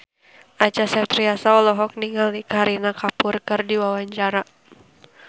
Acha Septriasa olohok ningali Kareena Kapoor keur diwawancara